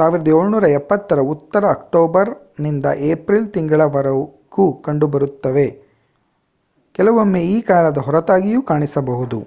1770ರ ಉತ್ತರಕ್ಕೆ ಅಕ್ಟೋಬರ್ ನಿಂದ ಏಪ್ರಿಲ್ ತಿಂಗಳವರೆಗೂ ಕಂಡುಬರುತ್ತವೆ ಕೆಲವೊಮ್ಮೆ ಈ ಕಾಲದ ಹೊರತಾಗಿಯೂ ಕಾಣಿಸಬಹುದು